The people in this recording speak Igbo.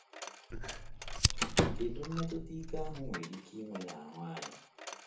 Kedu mmetụta ike ahụ nwere ike inwe n’ahụ anyị?